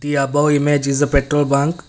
the above image is a petrol bunk.